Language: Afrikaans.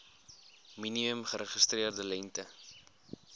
minimum geregistreerde lengte